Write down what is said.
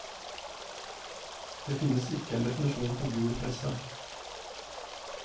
Det finnes ikke en definisjon på gul presse.